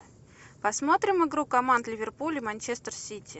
посмотрим игру команд ливерпуль и манчестер сити